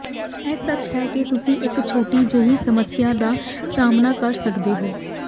ਇਹ ਸੱਚ ਹੈ ਕਿ ਤੁਸੀਂ ਇਕ ਛੋਟੀ ਜਿਹੀ ਸਮੱਸਿਆ ਦਾ ਸਾਹਮਣਾ ਕਰ ਸਕਦੇ ਹੋ